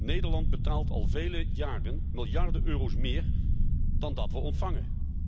Nederland betaalt al vele jaren miljarden euro's meer dan we ontvangen.